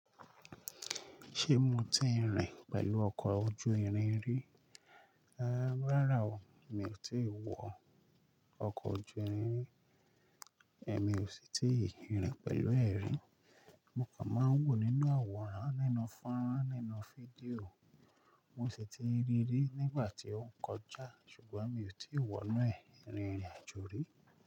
Ṣé mo ti ń rìn pẹ̀lú ọkọ̀ ojú irin rí? Ehn, rárá o, mi ò tíì wọ ọkọ̀ ojú irin ri, èmi ò sì ti ń rìn pẹ̀lú ẹ̀ rí. Mo kàn máa ń wò nínú àwòrán, nínú fọ́nrán, nínú fídíò. Mo sì ti ríi ri nígbà tí ó ń kọjá, ṣùgbọ́n mi ò tí ì wọ inú ẹ̀ rín jọ rí.